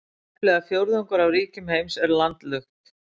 Tæplega fjórðungur af ríkjum heims eru landlukt.